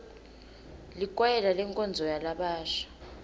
likwayela lenkonzo yalabasha